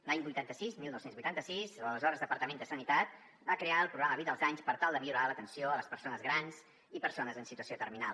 l’any vuitanta sis dinou vuitanta sis l’aleshores departament de sanitat va crear el programa vida als anys per tal de millorar l’atenció a les persones grans i persones en situació terminal